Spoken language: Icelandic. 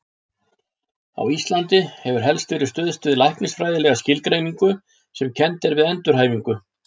Á Íslandi hefur helst verið stuðst við læknisfræðilega skilgreiningu sem kennd er við endurhæfingu.